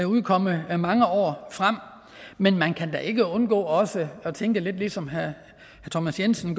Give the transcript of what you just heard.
udkomme i mange år frem men man kan da ikke undgå også at tænke lidt som herre thomas jensen